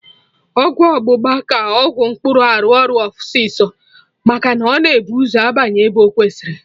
Ọgwụ ọgbụgba ka Ọgwụ mkpụrụ arụ ọrụ ọsịsọ maka na ọ na-ebu ụzọ abanye ebe ọ kwesịrị